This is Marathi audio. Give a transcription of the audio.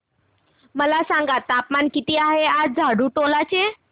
मला सांगा तापमान किती आहे आज झाडुटोला चे